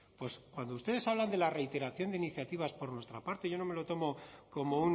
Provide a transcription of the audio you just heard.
pues cuando ustedes hablan de la reiteración de iniciativas por nuestra parte yo no me lo tomo como